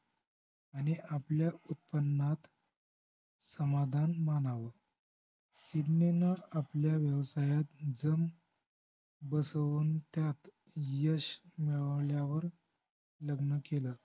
आणि आपल्या उत्पन्नात समाधान मानावं सिडनीन आपल्या व्यवसायात जम बसवून त्यात यश मिळवल्यावर लग्न केलं